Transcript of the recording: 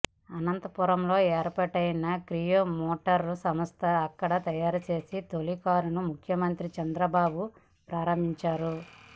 అనంతపురం లో ఏర్పాటైన Kia motor సంస్థ అక్కడ తయారు చేసిన తొలి కారును ముఖ్యమంత్రి చంద్రబాబు ప్రారంభించారు